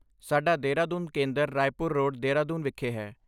ਸਾਡਾ ਦੇਹਰਾਦੂਨ ਕੇਂਦਰ ਰਾਏਪੁਰ ਰੋਡ, ਦੇਹਰਾਦੂਨ ਵਿਖੇ ਹੈ।